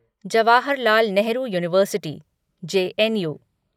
Jawaharlal Nehru University JNU